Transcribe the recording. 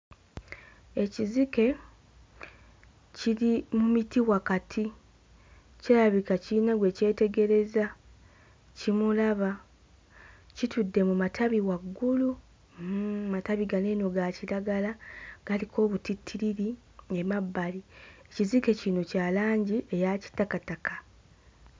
Ekizike kiri mu miti wakati kirabika kirina gwe kyetegereza kimulaba, kitudde mu matabi waggulu, hmm, matabi gano eno ga kiragala, galiko obutittiriri emabbali. Ekizike kino kya langi eya kitakataka.